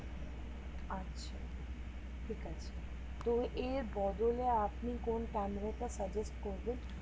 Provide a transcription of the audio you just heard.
আচ্ছা ঠিক আছে কো এর বদলে আপনি কোন ক্যামেরা টা suggest করবেন